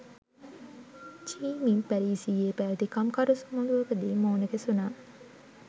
චි Minh පැරිසියේ පැවැති කම්කරු සමුළුවකදී මුණ ගැසුණා